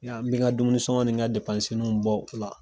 n be n ka dumunisɔngɔ ni n ka bɔ o la.